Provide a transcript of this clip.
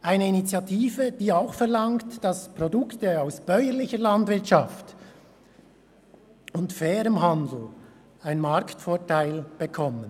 Es ist eine Initiative, die auch verlangt, dass Produkte aus bäuerlicher Landwirtschaft und fairem Handel einen Marktvorteil erhalten.